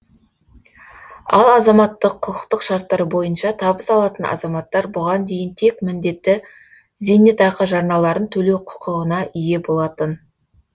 ал азаматтық құқықтық шарттар бойынша табыс алатын азаматтар бұған дейін тек міндетті зейнетақы жарналарын төлеу құқығына ие болатын